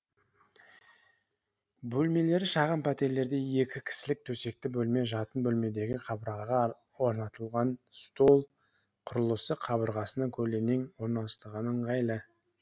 бөлмелері шағын пәтерлерде екі кісілік төсекті жатын бөлмедегі қабырғаға орнатылган стол құрылысы қабырғасына көлденең орналастырған ыңғайлы